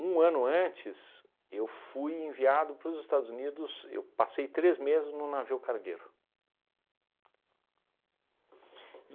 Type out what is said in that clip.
ano antes, eu fui enviado para os Estados Unidos, eu passei três meses num navio cargueiro.